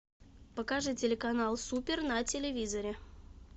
покажи телеканал супер на телевизоре